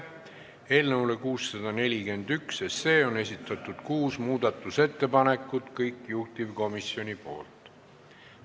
Eelnõu 641 kohta on esitatud kuus muudatusettepanekut, kõik need on juhtivkomisjonilt.